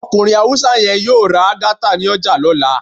Okunrin Hausa yẹ́n yọọ rá Algaita ní ojà lola.